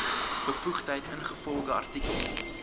bevoegdheid ingevolge artikel